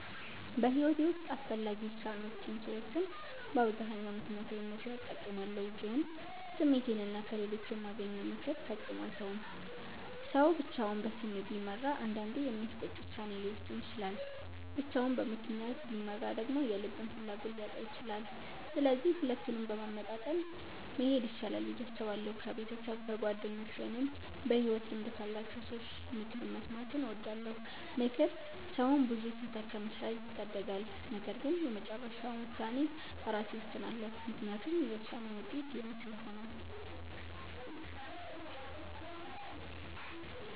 በሕይወቴ ውስጥ አስፈላጊ ውሳኔዎችን ስወስን በአብዛኛው ምክንያታዊነትን እጠቀማለሁ፣ ግን ስሜቴንና ከሌሎች የማገኘውን ምክር ፈጽሞ አልተውም። ሰው ብቻውን በስሜት ቢመራ አንዳንዴ የሚያስቆጭ ውሳኔ ሊወስን ይችላል፤ ብቻውን በምክንያት ቢመራ ደግሞ የልብን ፍላጎት ሊያጣ ይችላል። ስለዚህ ሁለቱንም በማመጣጠን መሄድ ይሻላል ብዬ አስባለሁ። ከቤተሰብ፣ ከጓደኞች ወይም በሕይወት ልምድ ካላቸው ሰዎች ምክር መስማትን እወዳለሁ። ምክር ሰውን ብዙ ስህተት ከመስራት ይታደጋል። ነገር ግን የመጨረሻውን ውሳኔ ራሴ እወስናለሁ፤ ምክንያቱም የውሳኔውን ውጤት የኔ ስለሆነ።